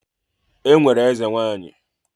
E nwere ezenwanyị.